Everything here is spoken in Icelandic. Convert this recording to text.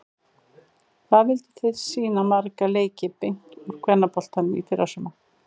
Hvað vilduð þið sýna marga leiki beint úr kvennaboltanum í fyrrasumar?